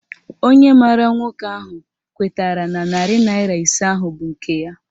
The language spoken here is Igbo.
Onye maara nwoke ahụ kwetara na narị naịra ise ahụ bụ nke ya